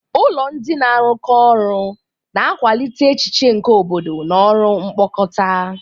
Ụlọ ndị na-arụkọ ọrụ na-akwalite echiche nke obodo na ọrụ mkpokọta.